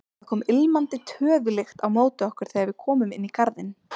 Það kom ilmandi töðulykt á móti okkur þegar við komum inn í garðinn.